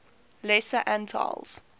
lesser antilles